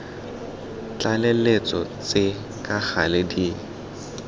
tlaleletso tse ka gale di